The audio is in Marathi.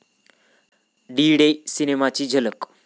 डी डे' सिनेमाची झलक